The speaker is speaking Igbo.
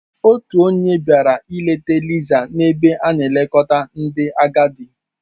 Otu onye bịara ileta Lisa n'ebe a na-elekọta ndị agadi.